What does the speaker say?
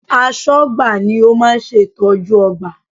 Aṣọ́gbà ni ó máa ń ṣe ìtọ́jú ọgbà